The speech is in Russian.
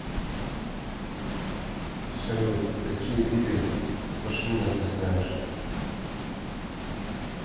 салют какие виды пашмина ты знаешь